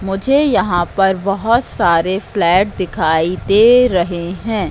मुझे यहां पर बहोत सारे फ्लैट दिखाई दे रहे हैं।